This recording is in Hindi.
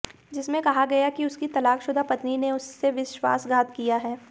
जिसमें कहा गया कि उसकी तलाकशुदा पत्नी ने उससे विश्वासघात किया है